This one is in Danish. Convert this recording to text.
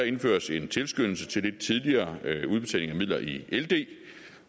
indføres en tilskyndelse til lidt tidligere udbetaling af midler i ld